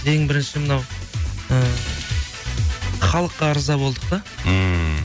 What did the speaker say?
ең бірінші мынау і халыққа ырза болдық та ммм